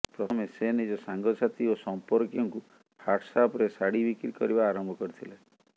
ପ୍ରଥମେ ସେ ନିଜ ସାଙ୍ଗସାଥୀ ଓ ସମ୍ପର୍କିୟଙ୍କୁ ହ୍ୱାଟସ୍ଆପ୍ରେ ଶାଢ଼ି ବିକ୍ରି କରିବା ଆରମ୍ଭ କରିଥିଲେ